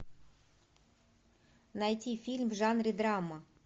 найти фильм в жанре драма